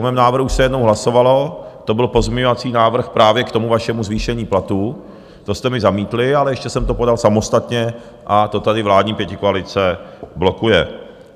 O mém návrhu se jednou hlasovalo, to byl pozměňovací návrh právě k tomu vašemu zvýšení platů, to jste mi zamítli, ale ještě jsem to podal samostatně a to tady vládní pětikoalice blokuje.